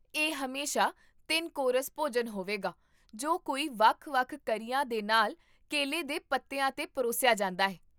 ਇਹ ਹਮੇਸ਼ਾ ਤਿੰਨ ਕੋਰਸ ਭੋਜਨ ਹੋਵੇਗਾ ਜੋ ਕਈ ਵੱਖ ਵੱਖ ਕਰੀਆਂ ਦੇ ਨਾਲ ਕੇਲੇ ਦੇ ਪੱਤਿਆਂ 'ਤੇ ਪਰੋਸਿਆ ਜਾਂਦਾ ਹੈ